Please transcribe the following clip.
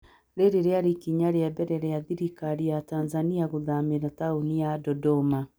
Rĩrĩ rĩarĩ ikinya rĩa mbere rĩa thirikari ya Tanzania gũthamĩra taũni ya Dodoma.